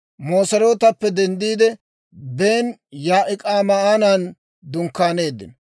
Moserootappe denddiide, Bene-Yaa'ik'aanan dunkkaaneeddino.